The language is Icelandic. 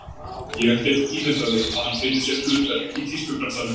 Ég get ímyndað mér að hann finni sér hlutverk í tískubransanum.